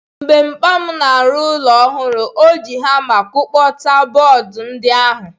Mgbe mpa m na-arụ ụlọ ọhụrụ anyị, o ji hama kpọkọta bọọdụ ndi ahu.